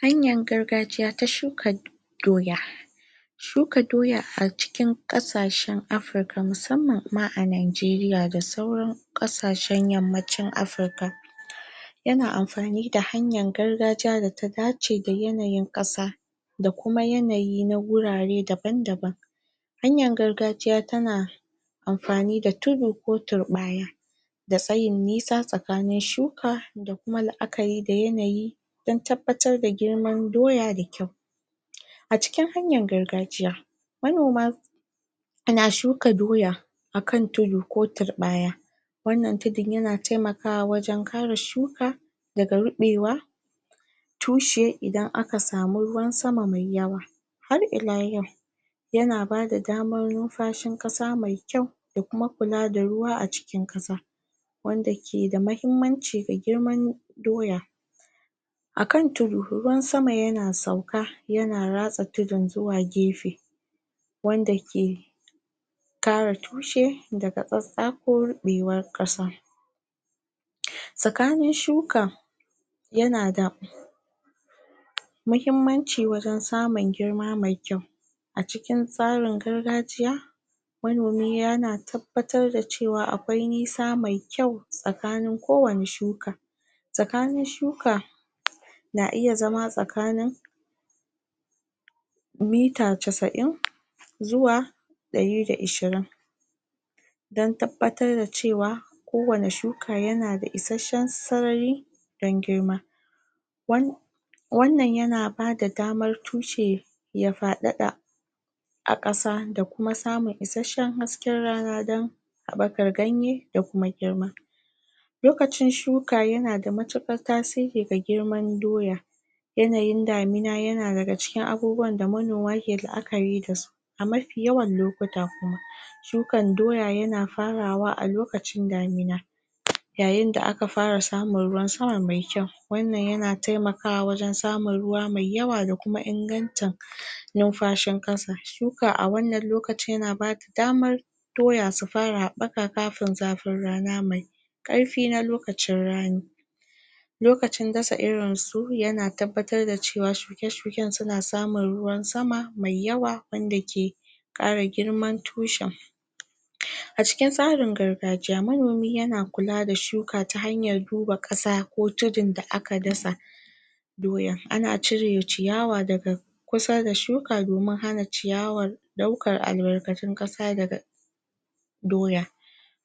Hanyar gargajiya ta shuka doya shuka doya a cikin ƙasashen afirka musamman ma a Nigeria da sauran ƙasashen yammacin afirka yana anfani da hanyar gargajiya data dace da yanayin ƙasa da Kuma yanayi na wurare daban daban hanyar gargajiya tana anfani da tudu ko turɓaya da tsayin nisa tsakanin shuka da Kuma laʼakari da yanayi don tabbatar da girman doya da kyau a cikin hanyar gargajiya manoma na shuka doya akan tudu ko turɓaya wannan tudun yana taimakawa waje kare shuka daga ruɓewa tushe Idan aka samu ruwan sama mai yawa har ila yau yana bada daman numfashin ƙasa mai kyau Kuma kula da ruwa cikin kasa wanda keda mahimmanci ga girman doya akan tudu ruwan sama yana sauka yana ratsa tudun zuwa gefe wanda ke kare tushe daga tsatsa ko rubewan kasa tsakanin shuka yanada wajen samun girma mai kyau cikin tsarin gargajiya manomi yana tabbatar da cewa akwai nisa mai kyau tsakanin kowani shuka tsakanin shuka na iya zama tsakanin mita casaʼin zuwa dari da ishirin don rabbatarda cewa kowani shuka Yanada ishasshen sarari don girma? wannan yana bada damar tushe ya fadada a kasa da Kuma samun isasshen hasken rana don habakar ganye da Kuma girma lokacin shuka Yanada matukar tasiri ga girman doya yanayin damina yana daga cikin abubuwanda manoma ke laʼakari dasu a mafi yawan lokuta kuma shukan doya yana farawa a lokacin damina yayinda aka fara samun ruwan sama mai kyau wannan yana taimakawa wurin samun ruwa mai yawa da Kuma ingantan numfashin ƙasa, shuka a wannan lokacin yana bada damar doya su fara haɓɓaka kafin zafin rana mai ƙarfi na lokacin rani lokacin dasa irinsu yana tabbatar da cewa shuke shuken suna samun ruwan sama mai yawa wanda ke kara girman tushen a cikin tsarin gargajiya manomi yana kula da shuka ta hanyar duba kasa ko tudun da aka dasa doyan ana cire ciyawa daga kusada shuka domin hana ciyawar ɗaukan albarkatun ƙasa daga doya